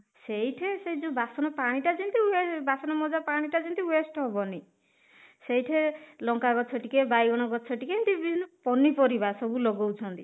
ସେଇଥି ସେଇ ଯୋଉ ବାସନ ପାଣି ଟା ଯେମିତି ହୁଏ ବାସନ ମଜା ପାଣି ଟା ଯେମିତି waste ହବନି ସେଇଠି ଲଙ୍କା ଗଛ ଟିକେ ବାଇଗଣ ଗଛ ଟିକେ ଏମିତି ବିଭିନ୍ନ ପନିପରିବା ସବୁ ଲଗଉଛନ୍ତି